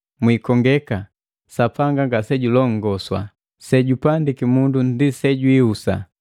Mwiikongeka, Sapanga ngasejulongamwa. Sejupandiki mundu ndi sejihusa.